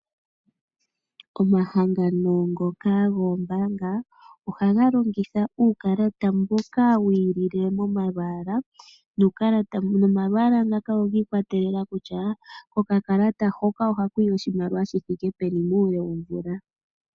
Omahangano ngoka goombaanga ohaga longitha uukalata mboka wi ilile momalwaala nuukalata, nomalwaala ngaka ogi ikwatela kutya okakalata hoka ohaku ya oshimaliwa shi thike peni muule womvula.